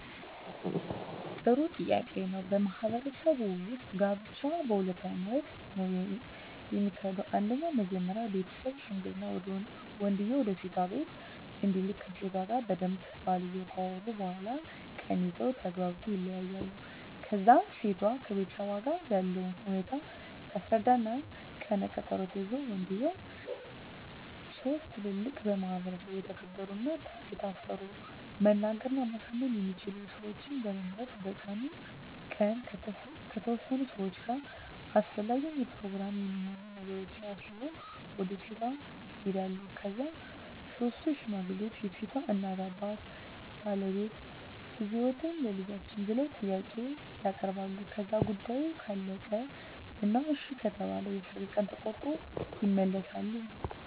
ጥሩ ጥያቄ ነው በማህበረሰቡ ውጥ ጋብቻ በሁለት አይነት ነው ከሚካሄደው አንደኛው መጀመሪ ቤተሠብ ሽምግልና ወንድየው ወደሴቷ ቢቤት እንዲልክ ከሴቷ ጋር በደንብ ባልየው ካወሩ በኋላ ቀን ይዘው ተግባብተው ይለያያሉ ከዛ እሴቷም ከቤተሠቧ ጋር ያለውን ሁኔታ ታስረዳ እና ቀነ ቀጠሮ ተይዞ ወንድየው ሥስት ትላልቅ በማህበረሰቡ የተከበሩ እና የታፈሩ መናገር እና ማሳመን የሚችሉ ሠወችን በመምረጥ በቀኑ ቀን ከተወሠኑ ሠዋች ጋር አሰፈላጊውን የፕሮግራም የሚሆኑ ነገሮችን አሲዞ ወደ ሴቷ ይሄዳሉ ከዛ ሥስቱ ሽማግሌ የሴት እናት አባት ቤተሰብ ባለበት ልደፈጅዎትን ቸልጃችን ብለው ጥያቄ ያበርባሉ ከዛ ጉዳዮ ካለቀ እና እሺ ከተባለ የሠርግ ቀን ተቆሮጦ ይመለሣሉ